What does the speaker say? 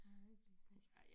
Jeg ved det ikke rigtig